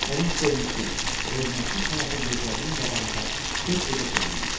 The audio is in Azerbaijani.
Onun sevincsiz, rövnəqsiz həyatı gözlərimin qabağında get-gedə sönürdü.